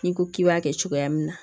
N'i ko k'i b'a kɛ cogoya min na